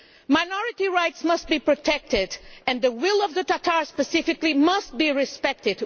Minority rights must be protected and the will of the Tatars, specifically, must be respected.